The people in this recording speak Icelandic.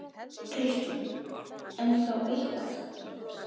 Kristján: En þó eitthvað?